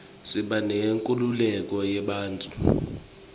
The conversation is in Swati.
siba neyenkhululeko yebantfu